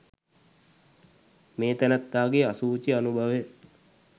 මේ තැනැත්තාගේ අසුචි අනුභවය